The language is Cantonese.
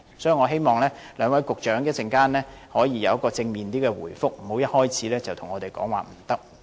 所以，我希望兩位局長稍後可以有比較正面的回覆，不要一開始便對我們說"不可以"。